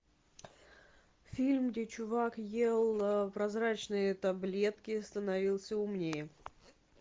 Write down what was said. фильм где чувак ел прозрачные таблетки и становился умнее